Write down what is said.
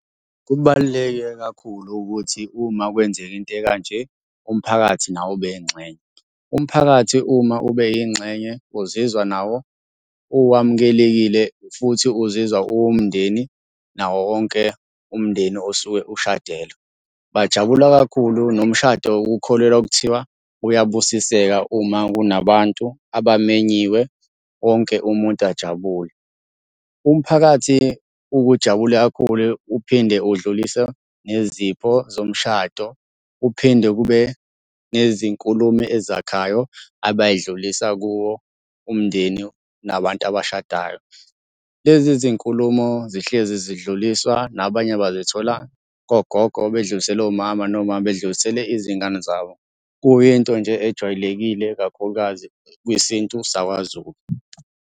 Kubaluleke kakhulu ukuthi uma kwenzeka into ekanje umphakathi nawo ube yingxenye. Umphakathi uma ube yingxenye uzizwa nawo uwamukelekile futhi uzizwa uwumndeni nawo wonke umndeni osuke ushadelwa. Bajabula kakhulu nomshado ukukholelwa kuthiwa uyabusiseka uma kunabantu abamenyiwe wonke umuntu ajabule. Umphakathi uke ujabule kakhulu uphinde udlulise nezipho zomshado. Uphinde kube nezinkulumo ezakhayo abayidlulisa kuwo umndeni nabantu abashadayo. Lezi izinkulumo zihlezi zidluliswa, nabanye bazithola kogogo bey'dlulisele omama, nomama bedlulisele izingane zabo. Kuyinto nje ejwayelekile kakhulukazi kwisintu sakwaZulu.